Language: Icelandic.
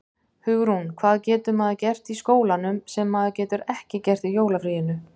Hugrún: Hvað getur maður gert í skólanum sem maður getur ekki gert í jólafríinu?